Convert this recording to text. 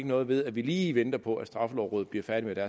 noget ved at vi lige venter på at straffelovrådet bliver færdig med